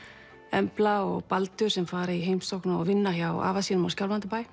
Embla og Baldur sem fara í heimsókn og vinna hjá afa sínum á